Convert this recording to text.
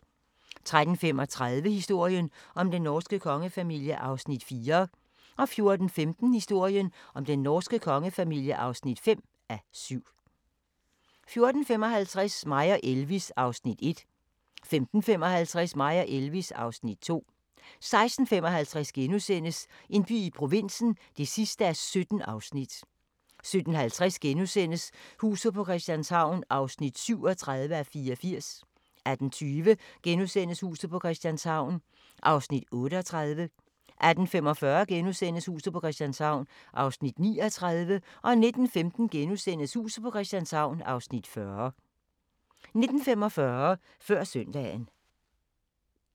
13:35: Historien om den norske kongefamilie (4:7) 14:15: Historien om den norske kongefamilie (5:7) 14:55: Mig og Elvis (Afs. 1) 15:55: Mig og Elvis (Afs. 2) 16:55: En by i provinsen (17:17)* 17:50: Huset på Christianshavn (37:84)* 18:20: Huset på Christianshavn (38:84)* 18:45: Huset på Christianshavn (39:84)* 19:15: Huset på Christianshavn (40:84)* 19:45: Før Søndagen